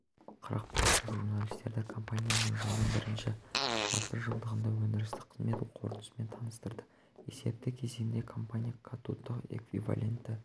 қырықпышев журналистерді компанияның жылдың бірінші жартыжылдығындағы өндірістік қызмет қорытындысымен таныстырды есепті кезеңде компания катодтық эквивалентті